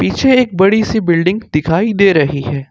एक बड़ी सी बिल्डिंग दिखाई दे रही है।